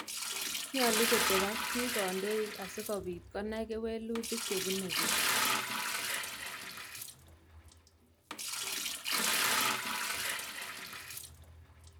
Nyolu kotep ak piik kandoik asikopit konai kewelutik chepunee piik